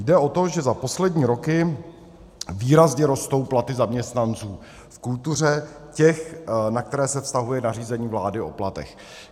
Jde o to, že za poslední roky výrazně rostou platy zaměstnanců v kultuře, těch, na které se vztahuje nařízení vlády o platech.